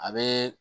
A bɛ